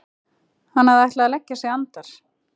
Hann hafði ætlað að leggja sig andar